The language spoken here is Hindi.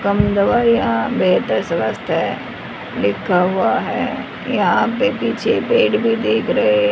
कम दवाइयां बेहतर स्वास्थ्य है लिखा हुआ है यहां पे पीछे पेड़ भी देख रहे--